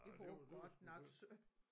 Det var godt nok synd